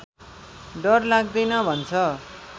डर लाग्दैन भन्छ